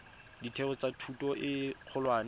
ditheo tsa thuto e kgolwane